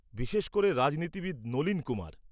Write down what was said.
বিশেষ করে রাজনীতিবিদ নলীন কুমার।